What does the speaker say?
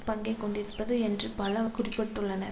பங்கை கொண்டிருப்பது என்று பல குறிப்பிட்டுள்ளனர்